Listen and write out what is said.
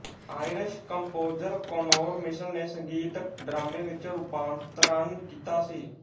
Irish composer Conor Mitchell ਨੇ ਸੰਗੀਤਕ ਡਰਾਮੇ ਵਿੱਚ ਰੂਪਾਂਤਰਨ ਕੀਤਾ ਸੀ